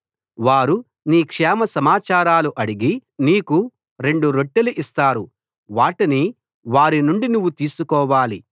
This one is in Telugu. వారు నీ క్షేమ సమాచారాలు అడిగి నీకు రెండు రొట్టెలు ఇస్తారు వాటిని వారి నుండి నువ్వు తీసుకోవాలి